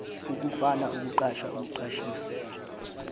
ukufuna ukuqasha ukuqashisa